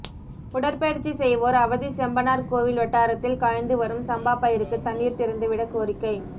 உடற்பயிற்சி செய்வோர் அவதி செம்பனார்கோவில் வட்டாரத்தில் காய்ந்து வரும் சம்பா பயிருக்கு தண்ணீர் திறந்து விட கோரிக்கை